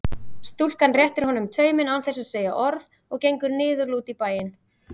Stúlkan réttir honum tauminn án þess að segja orð og gengur niðurlút í bæinn.